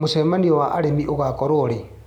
Mũcemanio wa arĩmi ũgakorwo rĩ.